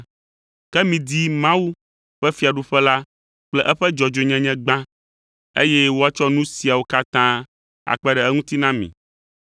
Ke midi Mawu ƒe fiaɖuƒe la kple eƒe dzɔdzɔenyenye gbã, eye woatsɔ nu siawo katã akpe ɖe eŋuti na mi.